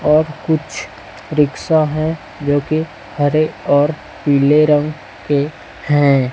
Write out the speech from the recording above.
और कुछ रिक्शा है जो की हरे और पीले रंग के हैं।